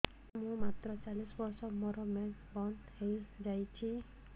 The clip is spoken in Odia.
ମୁଁ ମାତ୍ର ଚାଳିଶ ବର୍ଷ ମୋର ମେନ୍ସ ବନ୍ଦ ହେଇଯାଇଛି